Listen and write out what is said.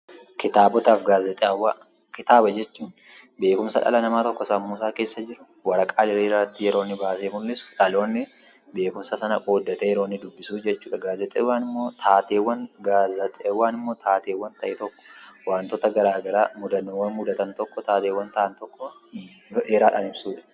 Kitaaba jechuun beekumsa dhala namaa tokko sammuu isaa keessa jiru waraqaa diriiraatti yeroo inni baasee mul'isu, dhaloonnii beekumsa sana qooddatee yeroo inni dubbisu jechuudha. Gaazexaawwan immoo taateewwan ta'e tokko, waantota garaa garaa mudannoowwan mudatan tokko, taateewwan ta'an tokko yeroo dheeraadhaan ibsuudha